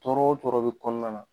Tɔɔrɔ o tɔɔrɔ bɛ kɔnɔna na